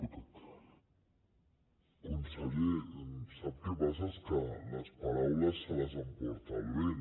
conseller sap què passa és que les paraules se les emporta el vent